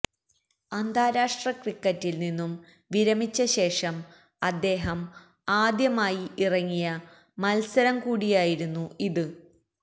അന്താരാഷ്ട്ര ക്രിക്കറ്റില് നിന്നും വിരമിച്ച ശേഷം അദ്ദേഹം ആദ്യമായി ഇറങ്ങിയ മല്സരം കൂടിയായിരുന്നു ഇത്